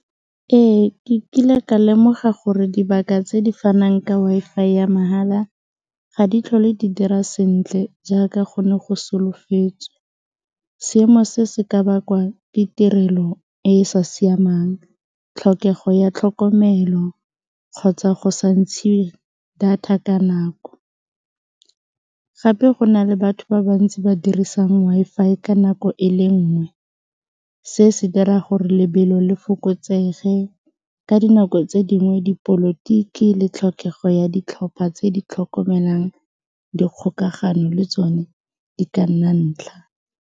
Ee, ke kile ka lemoga gore tse di fanang ka Wi-Fi ya mahala ga di tlhole di dira sentle jaaka go ne go solofetswe seemo se se ka bakwa ke tirelo e e sa siamang, tlhokego ya tlhokomelo kgotsa go sa ntshe data ka nako. Gape go na le batho ba bantsi ba dirisang Wi-Fi ka nako e le nngwe se se dira gore lebelo le fokotsege ka dinako tse dingwe dipolotiki le tlhokego ya ditlhopha tse di tlhokomelang dikgokagano le tsone di ka nna ntlha.